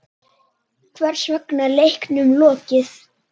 Hvers vegna er leiknum lokið?